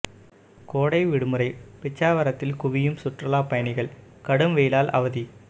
கோடை விடுமுறை பிச்சாவரத்தில் குவியும் சுற்றுலா பயணிகள் கடும் வெயிலால் அவதி